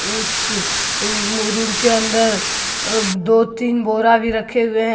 उस अह रूम के अंदर अह दो तीन बोरा भी रखे हुए हैं।